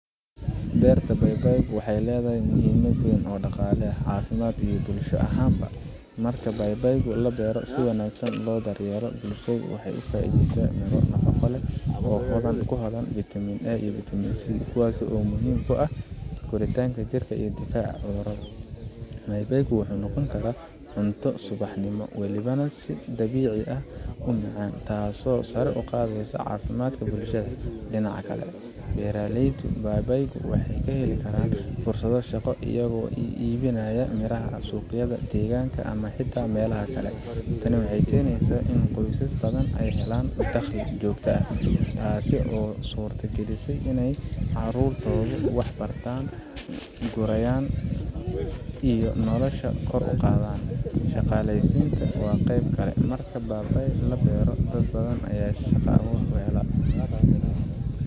"Beerta babaaygu waxay leedahay muhiimad weyn oo dhaqaale, caafimaad iyo bulsho ahaanba. Marka babaay la beero oo si wanaagsan loo daryeelo, bulshada waxay ka faa’iidaysataa miro nafaqo leh oo hodan ku ah vitamin A iyo vitaminC, kuwaasoo muhiim u ah koritaanka jirka iyo difaaca cudurrada. Babaaygu wuxuu noqon karaa cunto subaxnimo, waliba si dabiici ah u macaan, taasoo sare u qaadaysa caafimaadka bulshada. Dhinaca kale, beeraleyda babaayga waxay heli karaan fursado dhaqaale iyagoo iibinaya miraha suuqyada deegaanka ama xitaa meelaha kale. Tani waxay keenaysaa in qoysas badani ay helaan dakhli joogto ah, taasoo u suurta gelisay in carruurtoodu wax bartaan, guryaha la dayactiro, iyo nolosha oo kor u kacda. Shaqaaleysiintana waa qeyb kale marka babaay la beero, dad ayaa ka shaqa abuur kuhela.